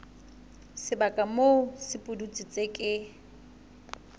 sebaka moo sepudutsi se ke